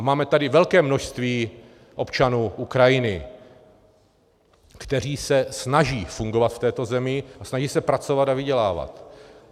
A máme tady velké množství občanů Ukrajiny, kteří se snaží fungovat v této zemi a snaží se pracovat a vydělávat.